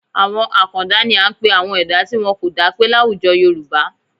Àwọn àkàndá ni à ń pe àwọn ẹ̀dá tí wọn kò dápé láwùjọ Yorùbá